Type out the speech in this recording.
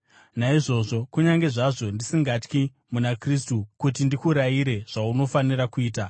Naizvozvo, kunyange zvazvo ndisingatyi, muna Kristu, kuti ndikurayire zvaunofanira kuita,